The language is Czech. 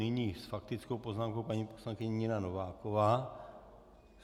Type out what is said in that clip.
Nyní s faktickou poznámkou paní poslankyně Nina Nováková.